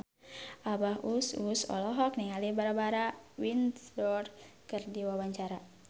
Abah Us Us olohok ningali Barbara Windsor keur diwawancara